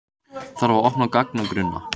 Þarf að opna gagnagrunna